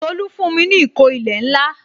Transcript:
Tolu fún mi ní ìkó ilẹ̀ ńlá